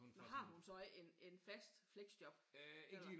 Men har hun så ikke en en fast fleksjob eller?